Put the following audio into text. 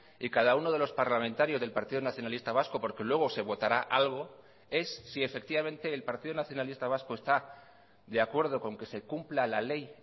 y cada uno de los parlamentarios del partido nacionalista vasco porque luego se votará algo es si efectivamente el partido nacionalista vasco está de acuerdo con que se cumpla la ley